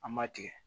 An ma tigɛ